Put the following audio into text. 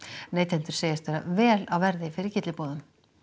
neytendur segjast vera vel á verði fyrir gylliboðum